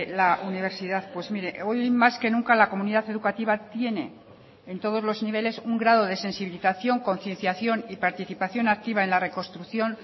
la universidad pues mire hoy más que nunca la comunidad educativa tiene en todos los niveles un grado de sensibilización concienciación y participación activa en la reconstrucción